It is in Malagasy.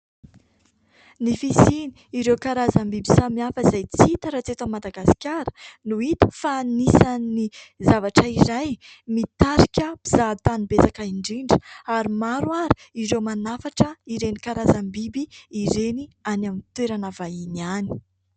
Ny fisiany ireo karazam-biby samihafa izay tsy hita raha tsy eto Madagasikara no hita fa anisany zavatra iray mitarika mpizahatany betsaka indrindra, ary maro ary ireo manafatra ireny karazam-biby ireny any amin'ny toerana vahiny any.